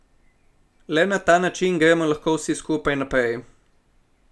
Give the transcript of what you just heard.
Le na ta način gremo lahko vsi skupaj naprej.